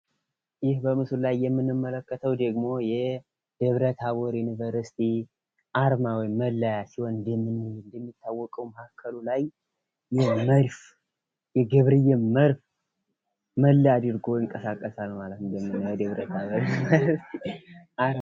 ይህ በምስሉ ላይ የምንመልከተው ደግሞ የደብራ-ታቦር ዩኒቨርሲቲ አርማ ወይም መለያ ሲሆን ይህም እንደሚታወቀው መሃከሉ ላይ የመድፍ የገብርዬን መድፍ መለያ አድርጎ ይንቀሳቀሳል ማለት ነው።